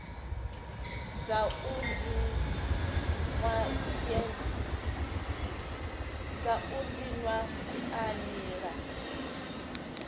sa u dinwa siani la